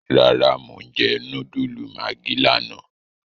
Rárá Mo n jẹ núdúlù maggi lààná